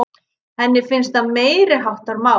Henni finnst það meiriháttar mál!